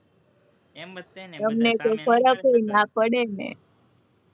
એમ જ તે ને, તમને તો ફર્કય ના પડે ને,